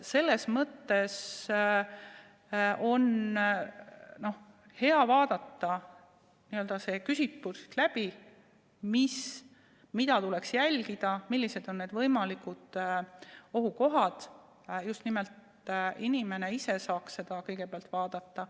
Selles mõttes on hea vaadata see küsitlus läbi, et mida tuleks jälgida ja millised on võimalikud ohukohad, ja just nimelt inimene ise saaks seda kõigepealt vaadata.